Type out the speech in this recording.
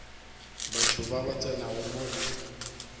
batho bale ba tsenago mola